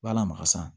B'a la maka san